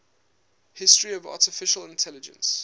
history of artificial intelligence